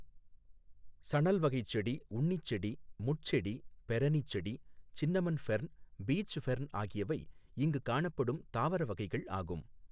சணல்வகைச்செடி, உண்ணிச்செடி, முட்செடி, பெரணி செடி, சின்னமன் ஃபெர்ன், பீச் ஃபெர்ன் ஆகியவை இங்கு காணப்படும் தாவர வகைகள் ஆகும்.